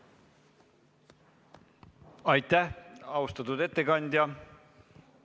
Aitäh, austatud ettekandja!